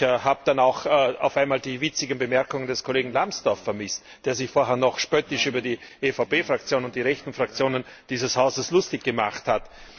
Ich habe dann auch die witzigen Bemerkungen des Kollegen Lambsdorff vermisst, der sich vorher noch spöttisch über die EVP Fraktion und die rechten Fraktionen dieses Hauses lustig gemacht hat.